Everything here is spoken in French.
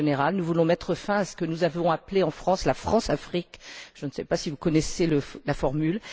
Nous voulons mettre fin à ce que nous avons appelé en France la Françafrique je ne sais pas si vous connaissez la formule.